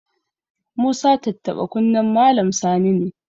Musa tattaɓa kunnen Malam Sani ne.